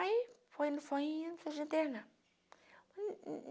Aí, foi indo, foi indo, fui se internar.